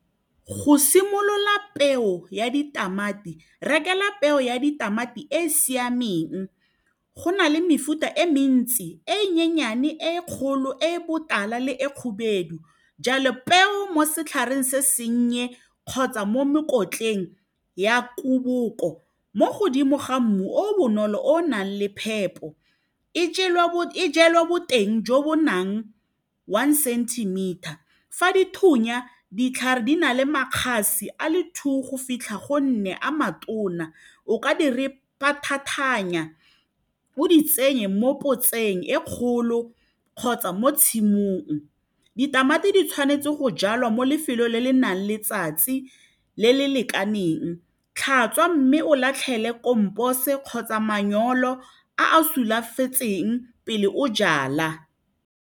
Go simolola peo ya ditamati rekela peo ya ditamati e e siameng go na le mefuta e mentsi e nyenyane, e kgolo, e e botala le e khubedu jalo peo mo setlhareng se sennye kgotsa mo mekotleng ya kuboko mo godimo ga mmu o o bonolo o nang le phepo e jalwa boteng jo bo nang one centimeter fa dithunya ditlhare di na le makgase a le two go fitlha go nne a matona o ka di o di tsenye mo kotseng e kgolo kgotsa mo tshimong ditamati di tshwanetse go jalwa mo lefelong le le nang letsatsi le le lekaneng tlhatswa mme o latlhele kampose kgotsa manyolo a a sulafetsweng pele o jala.